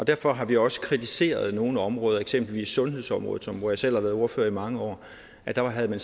derfor har vi også kritiseret nogle områder for eksempel sundhedsområdet som jeg selv har været ordfører på i mange år der havde man